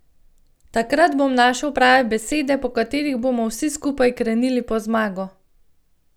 Takrat bom našel prave besede, po katerih bomo vsi skupaj krenili po zmago.